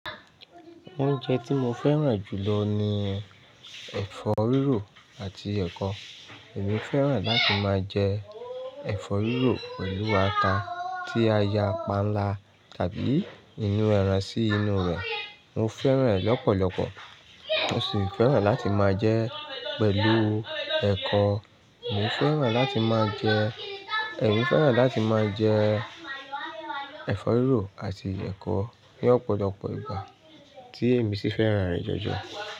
Oúnjẹ tí mo fẹ́ràn jù lọ ni ẹ̀fọ́ rírò àti ẹ̀kọ. Èmi fẹ́ràn láti máa jẹ ẹ̀fọ́ rírò pẹ̀lú ata tí a ya panla tàbí inú ẹran sí inú rẹ̀. Mo fẹ́ràn rẹ̀ lọ́pọ̀lọpọ̀. Mo sì fẹ́ràn láti máa jẹ ẹ́ pẹ̀lú ẹ̀kọ. Èmi fẹ́ràn láti máa jẹ, èmi fẹ́ràn láti máa jẹ ẹ̀fọ́ rírò àti ẹ̀kọ ní ọ̀pọ̀lọpọ̀ ìgbà tí èmi sì fẹ́ràn rẹ̀ jọjọ.